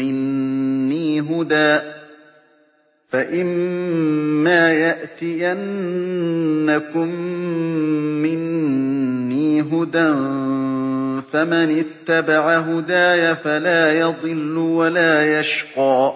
مِّنِّي هُدًى فَمَنِ اتَّبَعَ هُدَايَ فَلَا يَضِلُّ وَلَا يَشْقَىٰ